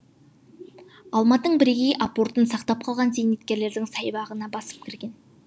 алматың бірегей апортын сақтап қалған зейнеткерлердің саябағына басып кірген